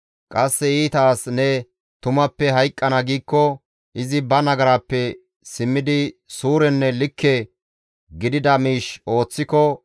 Qasse iita as ne tumappe hayqqana giikko, izi ba nagarappe simmidi suurenne likke gidida miish ooththiko,